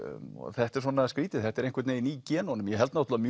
þetta er svona skrýtið þetta er einhvern veginn í genunum ég held náttúrulega